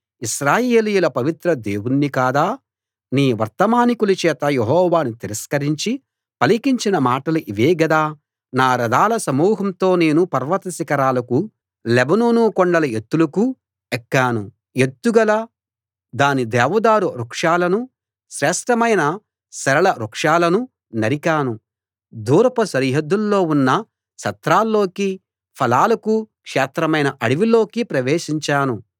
ఇశ్రాయేలీయుల పవిత్ర దేవుణ్ణి కాదా నీ వర్తమానికుల చేత యెహోవాను తిరస్కరించి పలికించిన మాటలు ఇవే గదా నా రథాల సమూహంతో నేను పర్వత శిఖరాలకూ లెబానోను కొండల ఎత్తులకూ ఎక్కాను ఎత్తుగల దాని దేవదారు వృక్షాలనూ శ్రేష్ఠమైన సరళ వృక్షాలనూ నరికాను దూరపు సరిహద్దుల్లో ఉన్న సత్రాల్లోకీ ఫలాలకు క్షేత్రమైన అడవిలోకీ ప్రవేశించాను